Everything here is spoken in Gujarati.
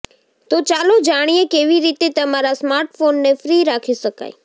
તો ચાલો જાણીએ કેવી રીતે તમારા સ્માર્ટફોનને ફ્રી રાખી શકાય